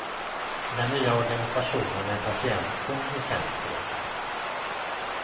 I den nya organisationen är patienten i centrum.